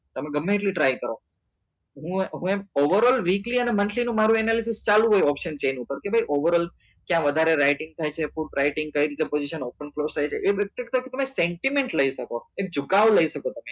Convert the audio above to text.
તમે ગમે એટલી try કરો હું એમ હું એમ overall weekly અને monthly નું મારું analysis ચાલુ જ હોય option chain ઉપર કે ભાઈ overall ક્યા વધારે writing થાય છે food writing કઈ રીતે open close થાય છે એ વ્યક્તિ સાથે santiment લઇ શકો એક જુકાવ લઇ શકો તમે